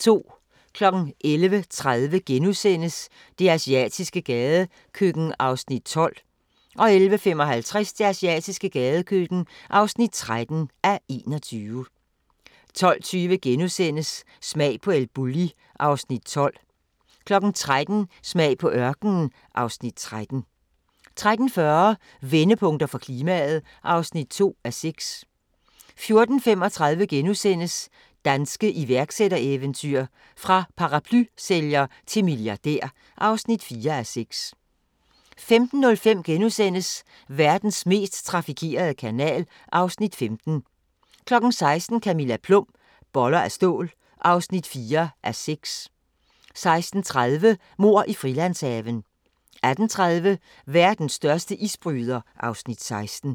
11:30: Det asiatiske gadekøkken (12:21)* 11:55: Det asiatiske gadekøkken (13:21) 12:20: Smag på El Bulli (Afs. 12)* 13:00: Smag på ørkenen (Afs. 13) 13:40: Vendepunkter for klimaet (2:6) 14:35: Danske iværksættereventyr – fra paraplysælger til milliardær (4:6)* 15:05: Verdens mest trafikerede kanal (Afs. 15)* 16:00: Camilla Plum - Boller af stål (4:6) 16:30: Mord i Frilandshaven 18:30: Verdens største isbryder (Afs. 16)